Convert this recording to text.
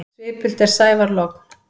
Svipult er sævar logn.